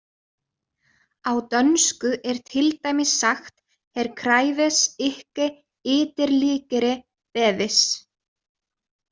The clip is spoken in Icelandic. Á dönsku er til dæmis sagt her kræves ikke yderligere bevis.